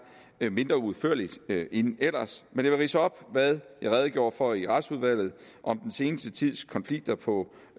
mindre udførligt end ellers men jeg vil ridse op hvad jeg redegjorde for i retsudvalget om den seneste tids konflikter på